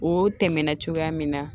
O tɛmɛnen cogoya min na